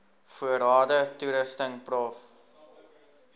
voorrade toerusting prof